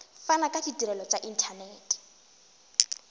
fana ka ditirelo tša inthanete